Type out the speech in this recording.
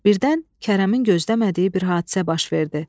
Birdən Kərəmin gözləmədiyi bir hadisə baş verdi.